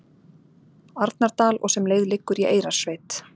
Arnardal og sem leið liggur í Eyrarsveit.